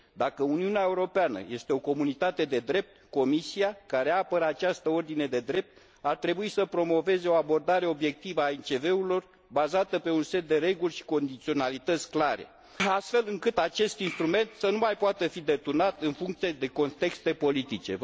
Dacă Uniunea Europeană este o comunitate de drept, Comisia, care apără această ordine de drept, ar trebui să promoveze o abordare obiectivă a MCV urilor, bazată pe un set de reguli și condiționalități clare, astfel încât acest instrument să nu mai poată fi deturnat, în funcție de contexte politice.